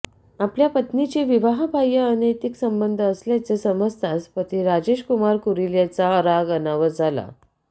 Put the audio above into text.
आपल्या पत्नीचे विवाहबाह्य अनैतिक संबंध असल्याचे समजताच पती राजेश कुमार कुरील यांचा राग अनावर झाला